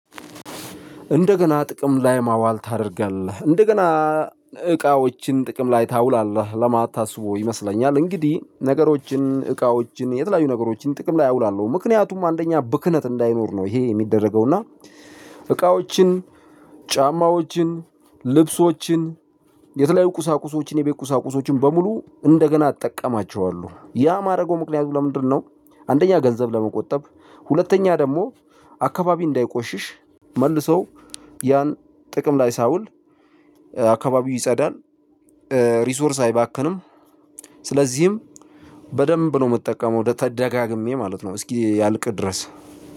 እንደገና ጥቅም ላይ ማዋል ታደርጋለህ? እንደገና እቃዎችን ጥቅም ላይ ታውላለህ ለማለት ታስቦ ይመስለኛል። እንግዲህ ነገሮችን እቃዎችን የተለያዩ ነገሮችን ጥቅም ላይ አውላለው ምክንያቱም አንደኛ ብክነት እንዳይኖር ነው። ይሄ ሚደረገው እና እቃዎችን ጫማዎችን ልብሶችን የተለያዩ ቁሳቁሶችን የቤት ቁሳቁሶችን በሙሉ እንደገና እጠቀማቸዋለው ያ ማድረገው ምክንያቱ ለምንድነው? አንደኛ ገንዘብ ለመቆጠብ ሁለተኛ ደግሞ አካባቢ እንዳይቆሽሽ መልሰው ያን ጥቆም ላይ ሳይውል አካባቢው ይጸዳል። ሪሶርስ አይባክንም። ስለዚህም በደንብ ነው ምጠቀመው ደጋግሜ ማለት ነው እስኪያልቅ ድረስ።